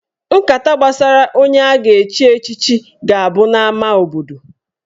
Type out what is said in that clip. Nkata gbasara onye a ga-echi echichi ga-abụ n'ama obodo.